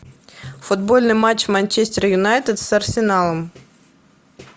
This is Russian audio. футбольный матч манчестер юнайтед с арсеналом